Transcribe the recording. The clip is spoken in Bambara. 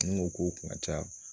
Ni n ko k'o kun ka ca